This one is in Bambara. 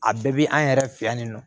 A bɛɛ bi an yɛrɛ fɛ yan nin nɔ